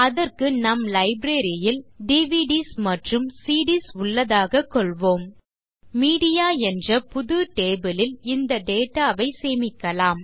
அதற்கு நம் லைப்ரரி ல் டிவிடிஎஸ் மற்றும் சிடிஎஸ் உள்ளதாகக் கொள்வோம் மீடியா என்ற புது டேபிள் லில் இந்த டேட்டா ஐ சேமிக்கலாம்